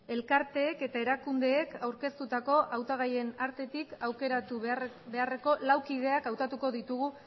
elkarteek eta erakundeek aurkeztutako hautagaien artetik aukeratu beharreko lau kideak hautatuko ditugu